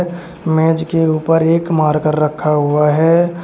मेज के ऊपर एक मारकर रखा हुआ है।